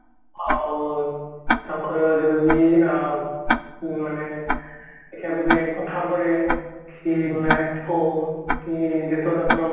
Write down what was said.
ଆଉ ତାଙ୍କର ଯେବେ ବି ଅ ମାନେ ଯେତେବେଳେ କଥା ପଡେ କି match ହଉ କି